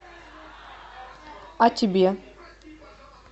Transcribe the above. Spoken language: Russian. а тебе